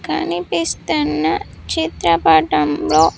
కనిపిస్తున్న చిత్రపటంలో .